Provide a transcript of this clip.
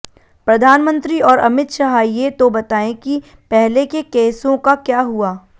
प्रधानमंत्री और अमित शाह ये तो बताएं कि पहले के केसों का क्या हुआ